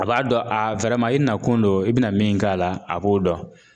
A b'a dɔn i nakun don i bi na min k'a la a b'o dɔn